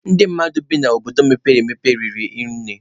Ndị mmadụ na-ebi n'obodo mepere emepe na-eri nne.